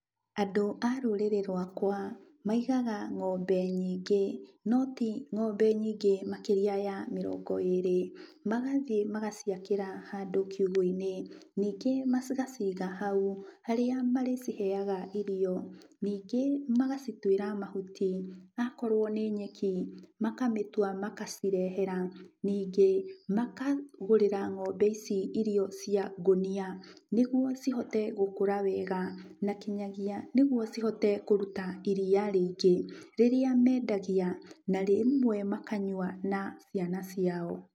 Andũ a rũrĩrĩ rwakwa, maigaga ng'ombe nyingĩ no ti ng'ombe nyingĩ makĩria ya mĩrongo ĩrĩ, magathiĩ magaciakĩra handũ kiugo - inĩ, ningĩ magaciga hau, harĩa marĩcihega irio, ningĩ ma gacitwiĩra mahuti, akorwo nĩ nyeki, makamĩtwa magacirehera, ningĩ makagũrĩra ng'ombe ici irio cia ngũnia, nĩguo cihote gũkora wega, na kinyagia nĩguo cihote kũrũta iria rĩingĩ, rĩrĩa mendagia, na rĩmwe makanyua na ciana ciao.